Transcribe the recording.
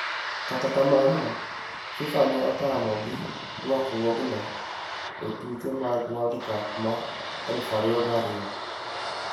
Kata kamano, FIFA ne otamo gi rwakruogno e tuke mag World Cup ma aluf ariyo gi ariyo.